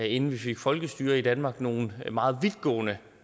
inden vi fik folkestyre i danmark nogle meget vidtgående